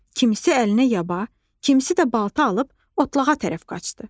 Kimisi əlinə yaba, kimisi də balta alıb otlağa tərəf qaçdı.